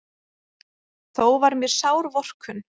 Þó var mér sár vorkunn.